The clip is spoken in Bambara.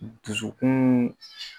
Dusukun